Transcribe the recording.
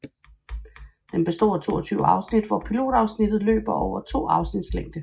Den består af 22 afsnit hvor pilotafsnittet løber over to afsnits længde